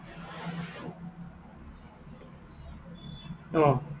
অ।